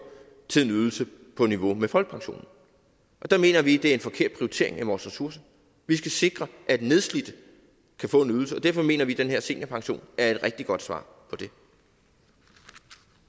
til en ydelse på niveau med folkepensionen og der mener vi det er en forkert prioritering af vores ressourcer vi skal sikre at nedslidte kan få en ydelse og derfor mener vi den her seniorpension er et rigtig godt svar på det